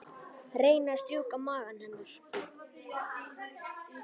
Reyni að strjúka maga hennar.